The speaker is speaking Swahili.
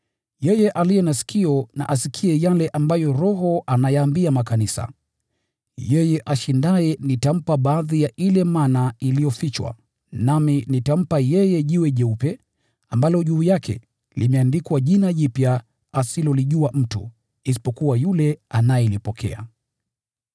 “Yeye aliye na sikio na asikie yale ambayo Roho ayaambia makanisa. Yeye ashindaye nitampa baadhi ya ile mana iliyofichwa. Nitampa pia jiwe jeupe ambalo juu yake limeandikwa jina jipya asilolijua mtu, isipokuwa yule anayelipokea.